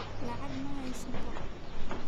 Lacag ma haysto.